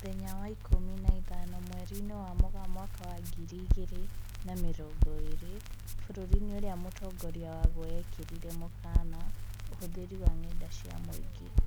Mũthenya wa ikũmi na ithano mweri-inĩ wa Mũgaa mwaka wa ngiri igĩrĩ na mĩrongo ĩrĩ, bũrũri-inĩ ũrĩa mũtongoria waguo ekĩrĩrĩre mũkana ũhũthĩri wa ng'enda cia muingĩ